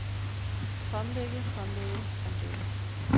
fremlægge fremlægge fremlægge